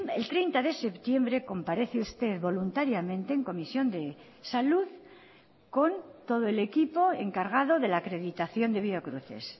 el treinta de septiembre comparece usted voluntariamente en comisión de salud con todo el equipo encargado de la acreditación de biocruces